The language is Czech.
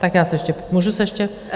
Tak já se ještě, můžu se ještě?